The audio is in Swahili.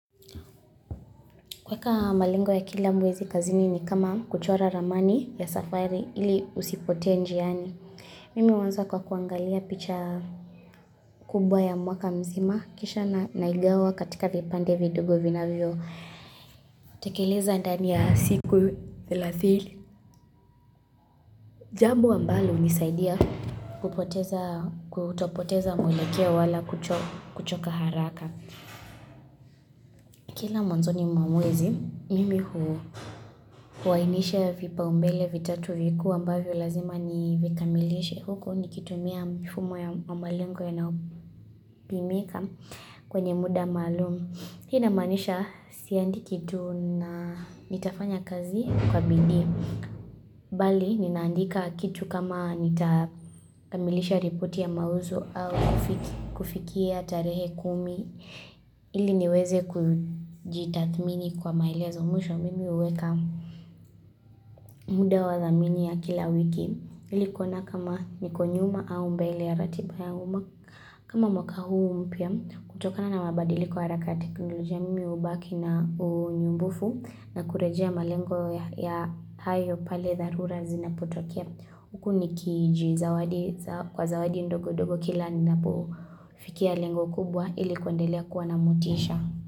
Kuweka malengo ya kila mwezi kazini ni kama kuchora ramani ya safari ili usipotee njiani. Mimi huanza kwa kuangalia picha kubwa ya mwaka mzima kisha naigawa katika vipande vidogo vinavyo. Tekeleza ndani ya siku thelathini. Jambo ambalo hunisaidia kutopoteza mwelekeo wala kuchoka haraka. Kila mwanzoni mwa mwezi mimi huwainisha vipaoumbele vitatu vikuu ambavyo lazima nivikamilishe huku nikitumia mifumo ya malengo yanayopimika kwenye muda maalum. Hii inamaanisha siandiki tu na nitafanya kazi kwa bidii. Bali, ninaandika kitu kama nitakamilisha ripoti ya mauzo au kufikia tarehe kumi. Ili niweze kujitathmini kwa maelezo mwisho mimi huweka muda wa thamini ya kila wiki. Ili kuona kama niko nyuma au mbele ya ratiba ya uma. Kama mwaka huu mpya, kutokana na mabadiliko ya haraka ya teknolojia mimi hubaki na unyumbufu na kurejea malengo ya hayo pale dharura zinapotokea. Huku nikijizawadi kwa zawadi ndogo ndogo kila ninapofikia lengo kubwa ilikuandelea kuwa na motisha.